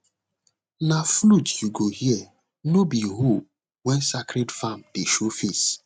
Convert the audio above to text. na flute you go hear no be hoe when sacred farm day show face